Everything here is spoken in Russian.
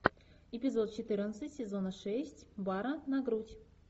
эпизод четырнадцать сезона шесть бара на грудь